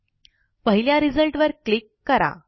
पहिल्या रिझल्टवर क्लिक करा